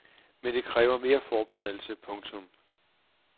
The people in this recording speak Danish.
Men det kræver mere forberedelse. punktum